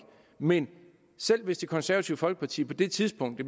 men selv hvis det konservative folkeparti på det tidspunkt